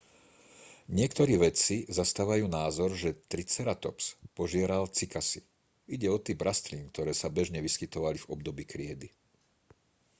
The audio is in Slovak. niektorí vedci zastávajú názor že triceratops požieral cykasy ide o typ rastlín ktoré sa bežne vyskytovali v období kriedy